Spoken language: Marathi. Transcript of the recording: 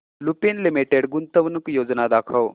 लुपिन लिमिटेड गुंतवणूक योजना दाखव